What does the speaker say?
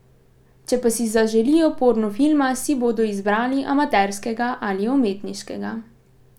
Če pa si zaželijo porno filma, si bodo izbrali amaterskega ali umetniškega.